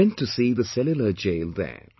I went to see the Cellular Jail there